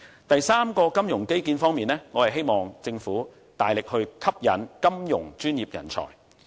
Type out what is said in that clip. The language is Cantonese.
第三個金融基建方面，我希望政府能夠大力吸引金融專業人才。